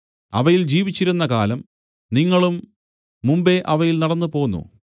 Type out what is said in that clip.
അവയിൽ ജീവിച്ചിരുന്ന കാലം നിങ്ങളും മുമ്പെ അവയിൽ നടന്നുപോന്നു